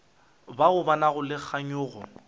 bao ba nago le kganyogo